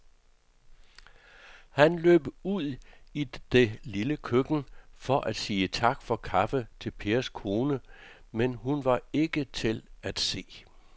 Han løb ud i det lille køkken for at sige tak for kaffe til Pers kone, men hun var ikke til at se.